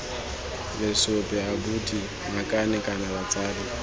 lesope abuti ngakane kana batsadi